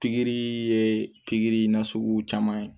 Pikiri ye pikiri na sugu caman ye